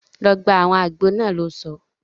Lọ gba awọn àgbo náà! lò sọ